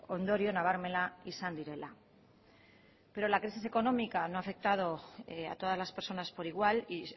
ondorio nabarmena izan direla pero la crisis económica no ha afectado a todas las personas por igual y